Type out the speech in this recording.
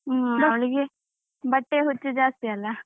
ಹ್ಮ್ ಅವಳಿಗೆ ಬಟ್ಟೆ ಹುಚ್ಚು ಜಾಸ್ತಿ ಅಲಾ.